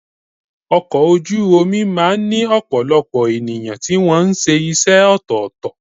Ọkọ̀ ojú omi máà ń ní ọ̀pọ̀lọpọ̀ ènìyàn tí wọ́n ṣe iṣẹ́ ọ̀tọ̀ọ̀tọ̀.